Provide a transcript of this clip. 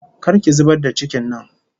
Kar ki zubar da cikin nan!